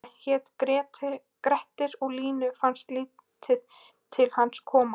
Hann hét Grettir og Línu fannst lítið til hans koma: